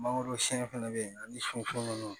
Mangoro sɛn fɛnɛ be yen ani sun nunnu